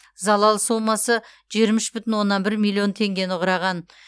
залал сомасы жиырма үш бүтін оннан бір миллион теңгені құраған